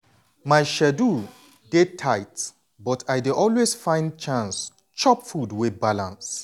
my schedule dey tight but i dey always find chance chop food wey balance.